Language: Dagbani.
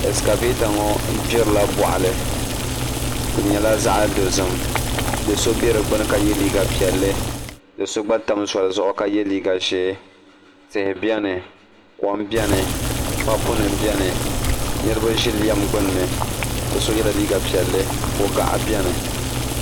Ɛskavɛta ŋo gbirila boɣali di nyɛla zaɣ dozim do so bɛ di gbuni ka yɛ liiga piɛlli do so gba tam zoli zuɣu ka yɛ liiga ʒiɛ tihi biɛni kom biɛni papu nim biɛni niraba ʒi lɛm gbunni bi so yɛla liiga piɛlli ko gaɣa biɛni